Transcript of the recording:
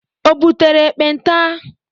O butere ekpenta?